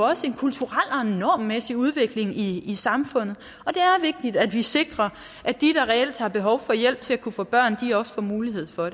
også i en kulturel en normmæssig udvikling i i samfundet og det er vigtigt at vi sikrer at de der reelt har behov for hjælp til at kunne få børn også får mulighed for